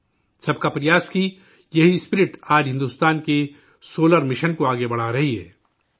'سب کا پریاس' کا یہی جذبہ آج بھارت کے سولر مشن کو آگے بڑھا رہا ہے